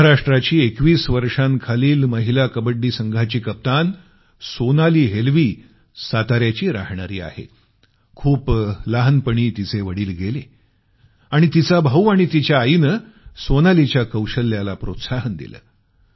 महाराष्ट्राची 21 वर्षाखालील महिला कबड्डी संघाची कप्तान सोनाली हेल्वी सातार्याची राहणारी आहे खूप लहानपणी तिचे वडील गेले आणि तिचा भाऊ आणि तिच्या आईन सोनालीच्या कौशल्याला प्रोत्साहन दिलं